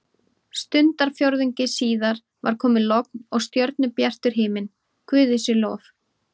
Stundarfjórðungi síðar var komið logn og stjörnubjartur himinn, guði sé lof.